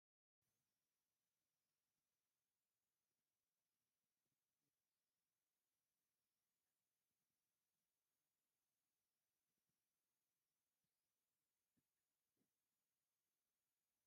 ኣብ ወሰን ፅርጊያ ሕክምና ላባራቶራ ልደታ ዝብል ናይ መፋለጢ ታፔላ ተተኺሉ ኣሎ፡፡ ናይ መፋለጢ ታፔላ ንትካላት እንታይ ዓይነት ረብሓ ይህበን?